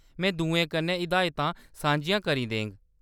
में दुएं कन्नै हिदायतां सांझियां करी देङ।